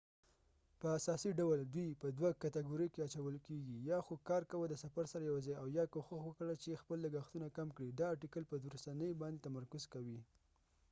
په اساسی ډول ،دوي په دوه کتګوریو کې اچول کېږی: یا خو کار کوه د سفر سره یوځای او یا کوښښ وکړه چې خپل لګښتونه کم کړي دا ارټیکل په وروستنی باندي تمرکز کوي